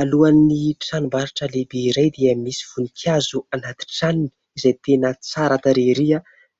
Alohan'ny tranombarotra lehibe iray dia misy voninkazo anaty tranony, izay tena tsara tarehy ery .